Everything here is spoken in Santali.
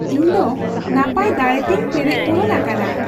ᱤᱧᱫᱚ ᱱᱟᱯᱟᱭ ᱫᱟᱲᱮ ᱛᱮᱧ ᱯᱮᱨᱮᱡᱽ ᱯᱩᱨᱩᱱ ᱟᱠᱟᱱᱟ ᱾